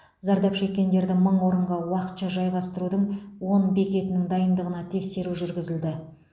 зардап шеккендерді мың орынға уақытша жайғастырудың он бекетінің дайындығына тексеру жүргізілді